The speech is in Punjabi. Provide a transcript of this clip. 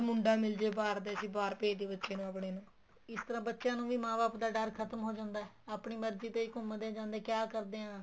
ਮੁੰਡਾ ਮਿਲ ਜ਼ੇ ਬਾਹਰ ਦਾ ਅਸੀਂ ਬਹਾਰ ਭੇਜ ਦਹੀਏ ਆਪਣੇ ਨੂੰ ਇਸ ਤਰ੍ਹਾਂ ਬੱਚਿਆ ਨੂੰ ਵੀ ਮਾਂ ਬਾਪ ਦਾ ਡਰ ਖ਼ਤਮ ਹੋ ਜਾਂਦਾ ਏ ਆਪਣੀ ਮਰਜੀ ਤੇ ਹੀ ਹੋ ਜਾਂਦੇ ਘੁੰਮਦੇ ਜਾਂਦੇ ਕਿਹਾ ਕਰਦਿਆ ਏ